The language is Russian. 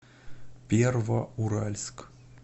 первоуральск